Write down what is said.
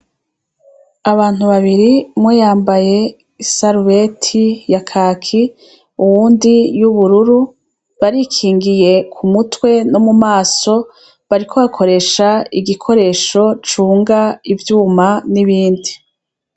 Abantu babiri mwoyambaye i salueti ya kaki uwundi y'ubururu barikingiye ku mutwe no mu maso bariko bakoresha igikoresho cunga ivyuma n'ibindi.